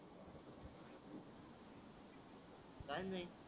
काय नाही